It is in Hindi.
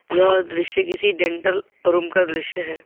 यह दृश्य किसी डेंटल रूम का दृश्य है।